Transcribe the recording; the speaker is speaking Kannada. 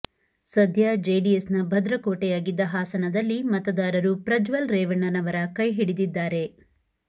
ಸದ್ಯ ಜೆಡಿಎಸ್ ನ ಭದ್ರಕೋಟೆಯಾಗಿದ್ದ ಹಾಸನದಲ್ಲಿ ಮತದಾರರು ಪ್ರಜ್ವಲ್ ರೇವಣ್ಣರವರ ಕೈಹಿಡಿದಿದ್ದಾರೆ